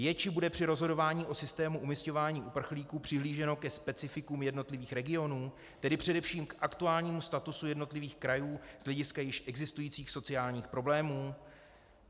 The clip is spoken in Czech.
Je či bude při rozhodování o systému umísťování uprchlíků přihlíženo ke specifikům jednotlivých regionů, tedy především k aktuálnímu statusu jednotlivých krajů z hlediska již existujících sociálních problémů?